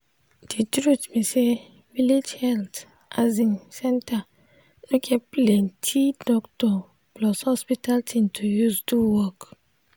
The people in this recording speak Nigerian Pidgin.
de truth be say village health asin center no get dey plenti doctor plus hospital thing to use do work.